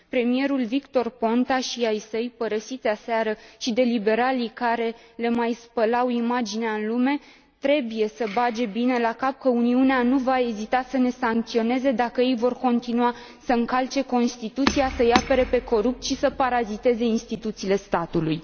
Premierul Victor Ponta și ai săi, părăsiți aseară și de liberalii care le mai spălau imaginea în lume, trebuie să bage bine la cap că Uniunea nu va ezita să ne sancționeze, dacă ei vor continua să încalce Constituția, să i apere pe corupți și să paraziteze instituțiile statului.